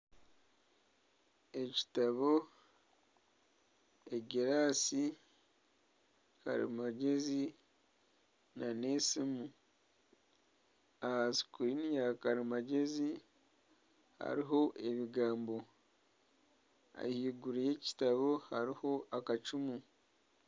Ekitabo, egiraasi, karimagyezi n'esimu. Aha sikuriini ya karimagyezi hariho ebigambo. Ahaiguru y'ekitabo hariho akacumu.